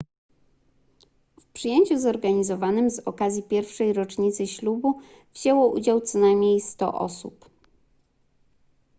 w przyjęciu zorganizowanym z okazji pierwszej rocznicy ślubu wzięło udział co najmniej 100 osób